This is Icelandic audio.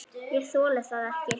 Ég þoli það ekki,